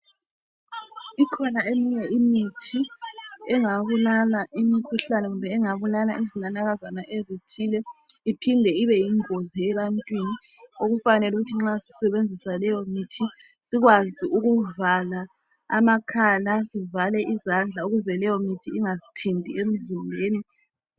Ikhona eminye imithi engabulala imikhuhlane kumbe iengabulala zinanakazana ezithile. Iphinde ibe yingozi ebantwini. Okufanele ukuthi nxa sisebenzisa leyomithi, sikwazi ukuvala amakhala. Sivale izandla, ukuze keyomithi ingasithinti emzimbeni.